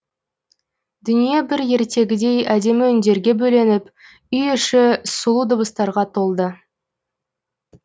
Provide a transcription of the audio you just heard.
дүние бір ертегідей әдемі үндерге бөленіп үй іші сұлу дыбыстарға толды